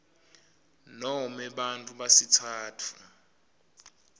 nome bantfu besitsatfu